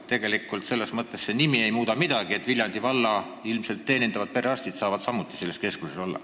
Tegelikult nimi ei muuda midagi ja Viljandi valla rahvast teenindavad perearstid saavad samuti selles keskuses olla.